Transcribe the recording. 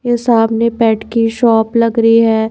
ये सामने बेड की शॉप लग रही है।